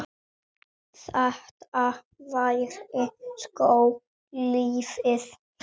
Þetta væri sko lífið.